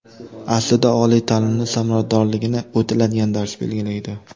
Aslida, oliy ta’limning samaradorligini o‘tiladigan dars belgilaydi.